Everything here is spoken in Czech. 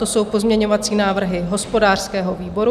To jsou pozměňovací návrhy hospodářského výboru.